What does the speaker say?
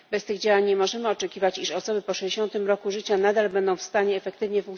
Bez tych działań nie możemy oczekiwać, że osoby po 60. roku życia nadal będą w stanie efektywnie